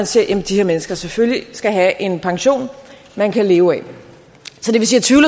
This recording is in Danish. siger at de her mennesker selvfølgelig skal have en pension man kan leve af